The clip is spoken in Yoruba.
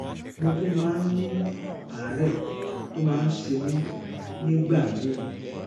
mo tún máa ń ní àárẹ tó máa ń ṣe mí nígbà míì